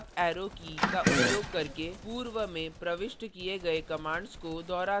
आप up arrow की का उपयोग arrowkey पूर्व में प्रविष्ट किये गए commands को दोहरा सकते हैं